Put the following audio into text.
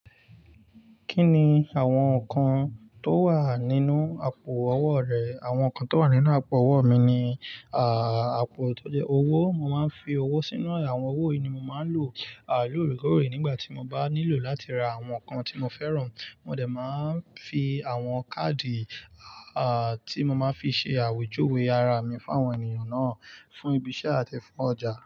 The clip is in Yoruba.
Kí ni àwọn nǹkan tó wà nínú àpò owó rẹ? Àwọn nǹkan tó wà nínú àpò owó mi ni, àpò tó jẹ́ owó. Mo máa ń fi owó sínú ẹ̀. Àwọn owó yìí ni mo máa ń lò lóòrèkóòrè nígbà tí mo bá nílò láti ra àwọn nǹkan tí mo fẹ́ràn. Mo dẹ̀ máa ń fi àwọn káàdì, tí mo máa ń fi ṣe àwèjúwe ara mi fún àwọn ènìyàn náà, fún ibi iṣẹ́ àti fún ọjà.